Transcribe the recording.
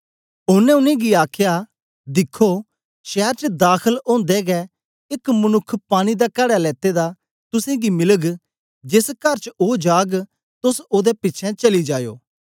ओनें उनेंगी आखया दिखो शैर च दाखल ओदे गै एक मनुक्ख पानी दा कड़ा लेते दा तुसेंगी मिलग जेस कर च ओ जाग तोस ओदे पिछें चली जायो